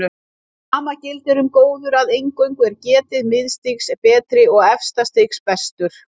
Sama gildir um góður að eingöngu er getið miðstigsins betri og efsta stigsins bestur.